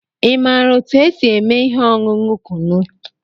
Ị maara otú e si eme ihe ọṅụṅụ Kunu?